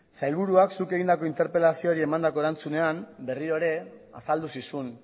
sailburuak zuk egindako interpelazioari emandako erantzunean berriro ere azaldu zizun